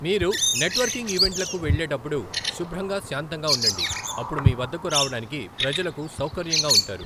మీరు నెట్వర్కింగ్ ఈవెంట్లకు వెళ్ళేటప్పుడు శుభ్రంగా శాంతంగా ఉండండి అప్పుడు మీవద్దకు రావడానికి ప్రజలకు సౌకర్యంగా ఉంటారు.